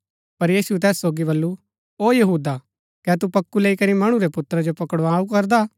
पर यीशुऐ तैस सोगी बल्लू ओ यहूदा कै तू पोक्कु लैई करी मणु रै पुत्रा जो पकड़ाऊ करदा